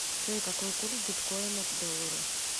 джой какой курс биткоина к доллару